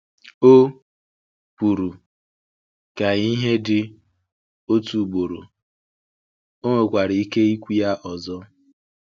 O kwuru, “Ka ìhè dị” otu ugboro, ọ nwekwara ike ikwu ya ọzọ.